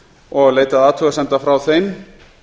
og leitað athugasemda frá þeim